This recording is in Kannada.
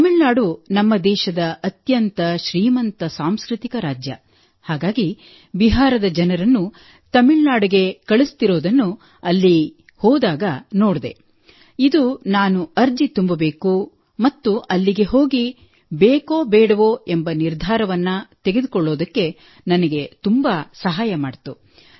ತಮಿಳುನಾಡು ನಮ್ಮ ದೇಶದ ಅತ್ಯಂತ ಶ್ರೀಮಂತ ಸಾಂಸ್ಕೃತಿಕ ರಾಜ್ಯ ಹಾಗಾಗಿ ಬಿಹಾರದ ಜನರನ್ನು ತಮಿಳುನಾಡಿಗೆ ಕಳುಹಿಸುತ್ತಿರುವುದನ್ನು ಅಲ್ಲಿಗೆ ಹೋದಾಗ ನೋಡಿದೆ ಇದು ನಾನು ಅರ್ಜಿ ತುಂಬಬೇಕು ಮತ್ತು ಅಲ್ಲಿಗೆ ಹೋಗಿ ಬೇಕೋ ಬೇಡವೋ ಎಂಬ ನಿರ್ಧಾರವನ್ನು ತೆಗೆದುಕೊಳ್ಳಲು ನನಗೆ ತುಂಬಾ ಸಹಾಯ ಮಾಡಿತು